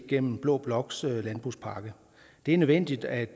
gennem blå bloks landbrugspakke det er nødvendigt at